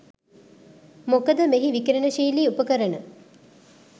මොකද මෙහි විකිරණශීලී උපකරණ